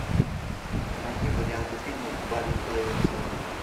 найди варианты фильмов барри левинсона